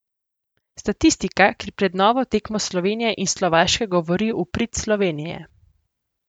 Statistika, ki pred novo tekmo Slovenije in Slovaške govori v prid Slovenije.